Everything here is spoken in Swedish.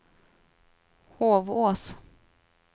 Hovås